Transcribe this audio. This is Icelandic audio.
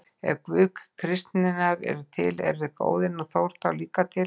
Ef Guð kristninnar er til, eru Óðinn og Þór þá líka til?